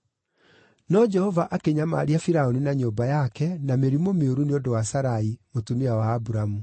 No Jehova akĩnyamaria Firaũni na nyũmba yake na mĩrimũ mĩũru nĩ ũndũ wa Sarai, mũtumia wa Aburamu.